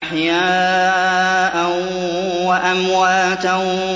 أَحْيَاءً وَأَمْوَاتًا